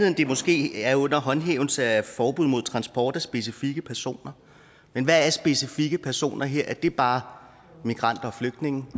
at det måske er under håndhævelse af forbud mod transport af specifikke personer men hvad er specifikke personer her er det bare migranter og flygtninge